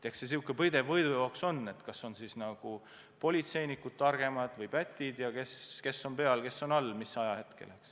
Eks see üks pidev võidujooks on: kas on politseinikud targemad või pätid, kes on peal, kes on all teatud ajahetkel.